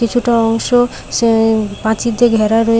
কিছুটা অংশ সে প্রাচীর দিয়ে ঘেরা রয়ে--